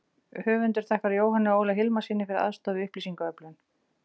Höfundur þakkar Jóhanni Óla Hilmarssyni fyrir aðstoð við upplýsingaöflun.